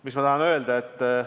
Mis ma tahan öelda?